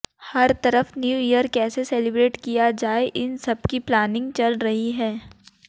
हर तरफ new year कैसे celebrate किया जाए इन सब की प्लानिंग चल रही है